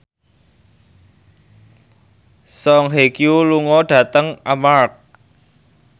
Song Hye Kyo lunga dhateng Armargh